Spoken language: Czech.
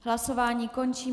Hlasování končím.